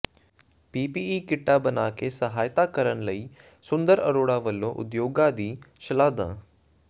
PPE ਕਿੱਟਾਂ ਬਣਾ ਕੇ ਸਹਾਇਤਾ ਕਰਨ ਲਈ ਸੁੰਦਰ ਅਰੋੜਾ ਵਲੋਂ ਉਦਯੋਗਾਂ ਦੀ ਸ਼ਲਾਘਾ